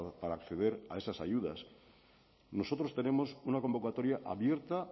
para acceder a estas ayudas nosotros tenemos una convocatoria abierta